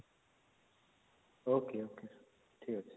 ok ok ଠିକ ଅଛି